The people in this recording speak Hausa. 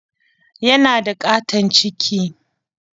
Yana da ƙaton ciki.